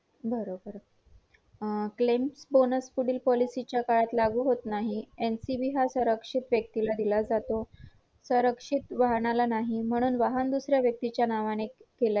त्यामध्ये अ solo partnership अ पा propertiship मध्ये साठे कोणता प्रकारचा एखादा म्हणजे जस की स्वतंत्र कायदा देखील नाहीये